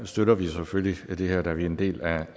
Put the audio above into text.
støtter vi selvfølgelig det her da vi er en del af